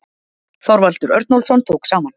Þorvaldur Örnólfsson tók saman.